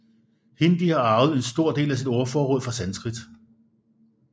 Hindi har arvet en stor del af sit ordforråd fra sanskrit